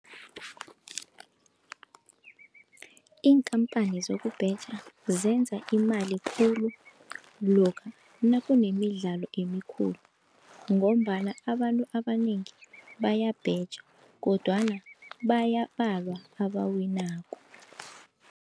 Iinkhamphani zokubheja zenza imali khulu lokha nakunemidlalo emikhulu, ngombana abantu abanengi bayabheja kodwana bayabalwa abawinako.